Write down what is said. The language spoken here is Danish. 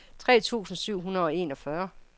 tre tusind syv hundrede og enogfyrre